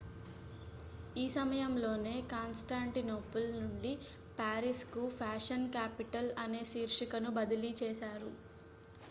ఈ సమయంలోనే కాన్స్టాంటినోపుల్ నుండి పారిస్ కు ఫ్యాషన్ క్యాపిటల్ అనే శీర్షికను బదిలీ చేశారు